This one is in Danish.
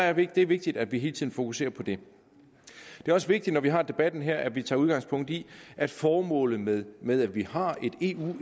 er vigtigt vigtigt at vi hele tiden fokuserer på det det er også vigtigt når vi har debatten her at vi tager udgangspunkt i at formålet med med at vi har et eu